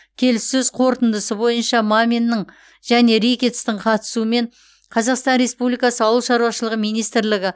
келіссөз қорытындысы бойынша маминнің және рикеттстің қатысуымен қазақстан республикасы ауыл шаруашылығы министрлігі